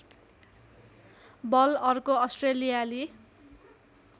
बल अर्को अस्ट्रेलियाली